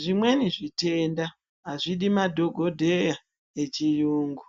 Zvimweni zvitenda azvidi madhokodheya echirungu